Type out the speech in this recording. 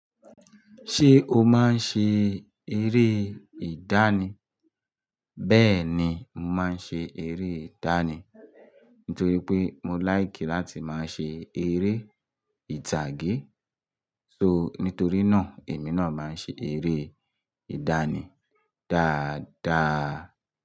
Ṣé o máa ń ṣe eré ìdánì? Bẹ́ẹ̀ni, mo máa ń ṣe eré ìdánì. Nítorí pé mo like láti máa ṣe eré ìtàgé. So, nítorí náà èmi náà máa ń ṣe eré ìdánì dáadáa.